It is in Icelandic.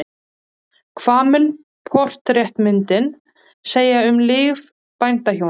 Hvað mun portrettmyndin segja um líf bændahjónanna?